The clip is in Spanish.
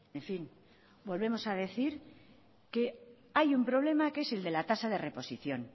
en fin volvemos a decir que hay un problema que es el de la tasa de reposición